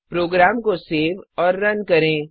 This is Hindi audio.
प्रोग्राम को सेव और रन करें